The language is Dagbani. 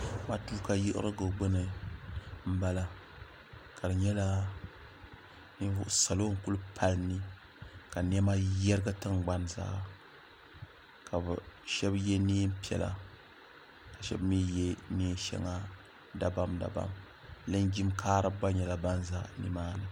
matuuka yiɣirigu gbuni n bala ka di nyɛla salo n ku pali ni ka niɛma yɛrigi tingbani zaa ka shab yɛ neen piɛla ka shab mii yɛ neen shɛŋa dabam dabam linjin kaaribi gba nyɛla ban ʒɛ nimaani